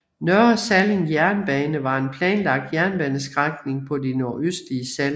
Nørre Salling Jernbane var en planlagt jernbanestrækning på det nordøstlige Salling